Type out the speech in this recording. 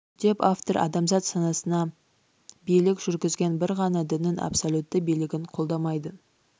деп автор адамзат санасына билік жүргізген бір ғана діннің абсолютті билігін қолдамайды